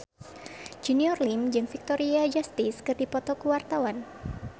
Junior Liem jeung Victoria Justice keur dipoto ku wartawan